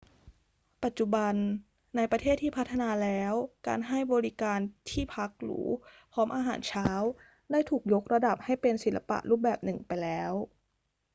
ปัจจุบัน ในประเทศที่พัฒนาแล้ว การให้บริการที่พักหรูพร้อมอาหารเช้าได้ถูกยกระดับให้เป็นศิลปะรูปแบบหนึ่งไปแล้ว